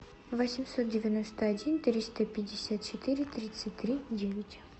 восемьсот девяносто один триста пятьдесят четыре тридцать три девять